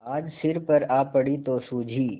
आज सिर पर आ पड़ी तो सूझी